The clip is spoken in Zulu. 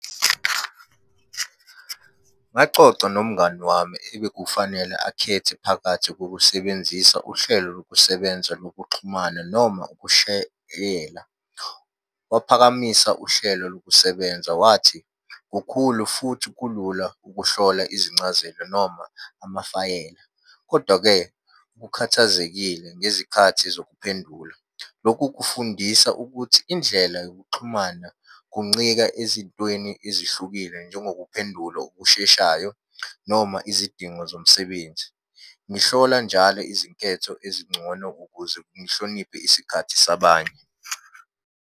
Ngacoca nomngani wami ebekufanele akhethe phakathi kokusebenzisa uhlelo lokusebenza lokuxhumana noma ukushayela. Waphakamisa uhlelo lokusebenza wathi, kukhulu futhi kulula ukuhlola izincazelo noma amafayela, kodwa-ke, ukhathazekile ngezikhathi zokuphendula. Lokhu kufundisa ukuthi indlela yokuxhumana kuncika ezintweni ezihlukile, njengokuphendula okusheshayo noma izidingo zomsebenzi. Ngihlola njalo izinketho ezingcono ukuze ngihloniphe isikhathi sabanye.